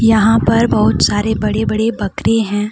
यहाँ पर बहुत सारे बड़े बड़े बकरी है।